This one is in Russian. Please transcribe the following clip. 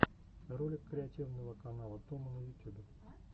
ролик креативного канала томо на ютюбе